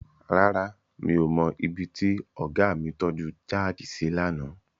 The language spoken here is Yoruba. Rárá, mi ò mọ ibi tí ọ̀gá mi tọ́ju jáàkì sí lánàá.